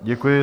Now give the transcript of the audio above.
Děkuji.